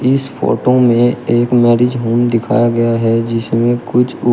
इस फोटो में एक मैरिज होम दिखाया गया है जिसमें कुछ उ--